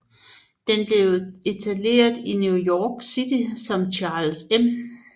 Den blev etableret i New York City som Charles M